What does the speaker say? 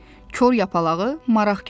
Kor Yapağı maraq götürdü.